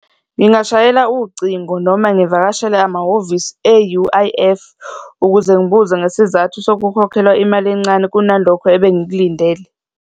Ngingashayela ucingo noma ngivakashele amahhovisi e-U_I_F ukuze ngibuze ngesizathu sokukhokhelwa imali encane kunalokho ebengikulindele.